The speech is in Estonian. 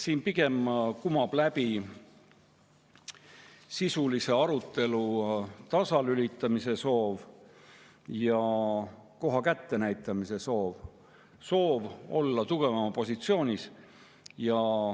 Siit kumab läbi pigem sisulise arutelu tasalülitamise ja koha kättenäitamise soov, soov olla tugevama positsioonis.